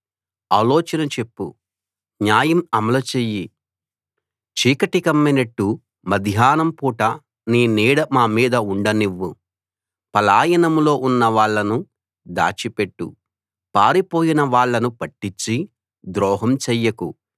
ఆలోచన చెప్పు న్యాయం అమలు చెయ్యి చీకటి కమ్మినట్టు మధ్యాహ్నం పూట నీ నీడ మా మీద ఉండనివ్వు పలాయనంలో ఉన్నవాళ్ళను దాచి పెట్టు పారిపోయిన వాళ్ళను పట్టిచ్చి ద్రోహం చెయ్యకు